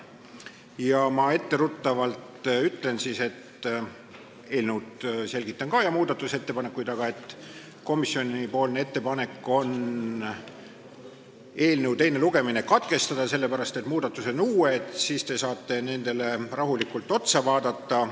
Ma ütlen etteruttavalt – enne kui ma selgitan eelnõu sisu ja muudatusettepanekuid –, et komisjoni ettepanek on eelnõu teine lugemine katkestada, sest on tehtud uusi muudatusi ja siis te saate neid rahulikult vaadata.